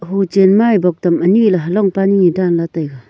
hu chen maye bok tam anyi halong panu nyi danla taiga.